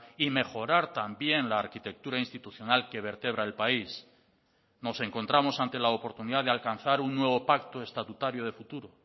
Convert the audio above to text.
y mejorar también la arquitectura institucional que vertebra el país nos encontramos ante la oportunidad de alcanzar un nuevo pacto estatutario de futuro